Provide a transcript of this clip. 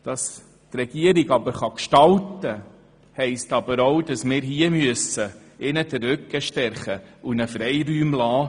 Damit die Regierung gestalten kann, müssen wir ihr hier den Rücken stärken und ihr Freiräume lassen.